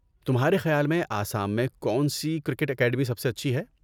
تمہارے خیال میں آسام میں کون سی کرکٹ اکیڈمی سب سے اچھی ہے؟